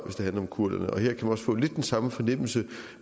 det handler om kurderne og her kan man få lidt den samme fornemmelse